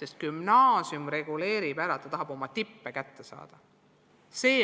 sest gümnaasium reguleerib selle ära, ta tahab oma tippe kätte saada.